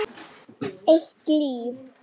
Eitt líf.